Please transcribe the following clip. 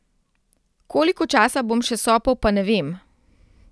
Koliko časa bom še sopel, pa ne vem.